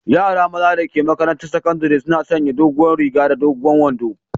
Yara maza da ke maƙarantan saƙandari suna sanƴe doguwar riga da dogon wanɗo.